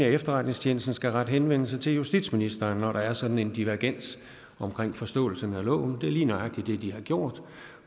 efterretningstjenesten skal rette henvendelse til justitsministeren når der er sådan en divergens om forståelsen af loven det er lige nøjagtig det de har gjort